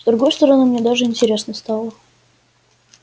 с другой стороны мне даже интересно стало